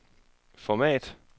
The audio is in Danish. format